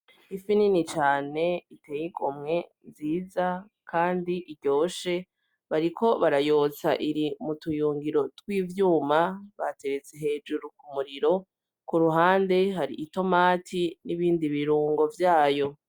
Ifi nini cane iteye igomwe, nziza Kandi iryoshe, bariko barayotsa iri mu tuyungiro tw'ivyuma, bateretse hejuru ku muriro. Ku ruhande hari itomati n'ibindi birungo vyayo.